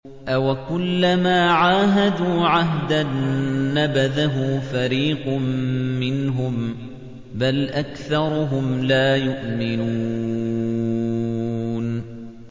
أَوَكُلَّمَا عَاهَدُوا عَهْدًا نَّبَذَهُ فَرِيقٌ مِّنْهُم ۚ بَلْ أَكْثَرُهُمْ لَا يُؤْمِنُونَ